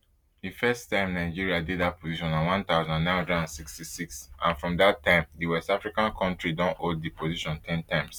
di first time nigeria dey dat position na one thousand, nine hundred and sixty-six and from dat time di west african kontri don hold di position ten times